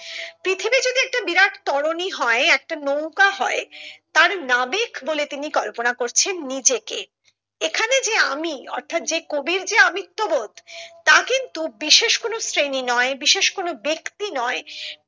পৃথিবী যদি একটা বিরাট তরণী হয় একটা নৌকা হয় তার নাবিক বলে তিনি কল্পনা করছেন নিজেকে এখানে যে আমি অর্থাৎ যে কবির যে আমিত্ব বোধ তা কিন্তু বিশেষ কোনো শ্রেণী নয় বিশেষ কোনো ব্যাক্তি নয়